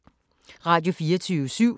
Radio24syv